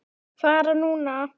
Fara núna?